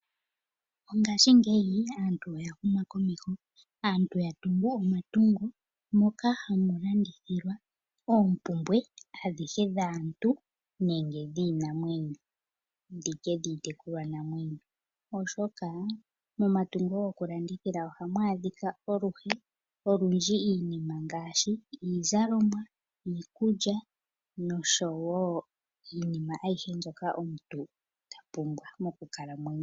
Mongashingeyi aantu oya huma komeho. Aantu ya tungu omatungo moka hamu landithilwa oompumbwe adhihe dhaantu nenge dhiinamwenyo nditye dhiitekulwanamwenyo. Oshoka momatungo gokulandithila ohamu adhika aluhe, olundji iinima ngaashi iizalomwa, iikulya noshowo iinima ayihe omuntu ta pumbwa mokukalamwenyo.